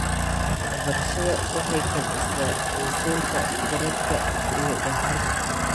Waxbarashada waxay kobcisaa xiisaynta garaadka iyo daahfurka.